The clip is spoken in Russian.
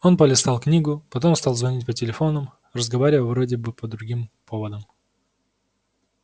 он полистал книгу потом стал звонить по телефонам разговаривая вроде бы по другим поводам